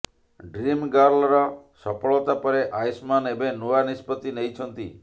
ଡ୍ରିମ୍ଗର୍ଲର ସଫଳତା ପରେ ଆୟୁଷ୍ମାନ୍ ଏବେ ନୂଆ ନିଷ୍ପତ୍ତି ନେଇଛନ୍ତି